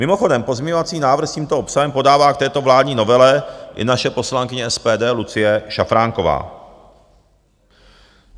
Mimochodem, pozměňovací návrh s tímto obsahem podává k této vládní novele i naše poslankyně SPD Lucie Šafránková.